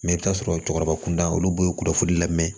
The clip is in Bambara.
Mɛ i bɛ t'a sɔrɔ cɛkɔrɔba kun da olu bɛɛ ye kunnafolili la mɛ